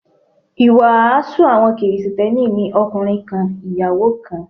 Ìwàásù àwọn Kristẹni ni ọkùnrin kan, ìyàwó kan.